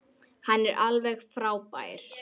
Hann er alveg frábær.